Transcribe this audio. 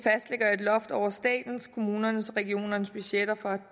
loft over statens kommunernes og regionernes budgetter fra